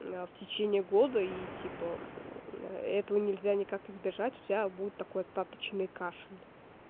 в течение года и типа этого нельзя никак избежать у тебя будет такой остаточный кашель